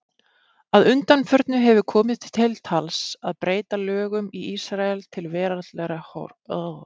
Að undanförnu hefur komið til tals að breyta lögum í Ísrael til veraldlegra horfs.